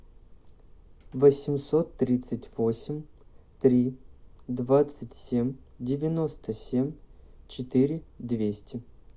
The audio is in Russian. восемьсот тридцать восемь три двадцать семь девяносто семь четыре двести